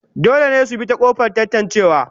Dole ne su bi ta kofar tatancewa